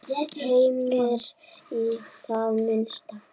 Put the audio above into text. Heimir: Í það minnsta?